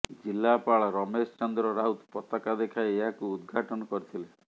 ଜିଲ୍ଲାପାଳ ରମେଶ ଚନ୍ଦ୍ର ରାଉତ ପତକା ଦେଖାଇ ଏହାକୁ ଉଦ୍ଘାଟନ କରିଥିଲେ